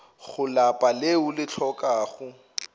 go lapa leo le hlokago